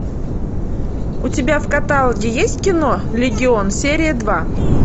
у тебя в каталоге есть кино легион серия два